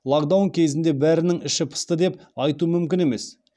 локдаун кезінде бәрінің іші пысты деп айту мүмкін емес